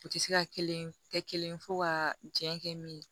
U tɛ se ka kelen kɛ kelen fɔ ka jɛn kɛ min ye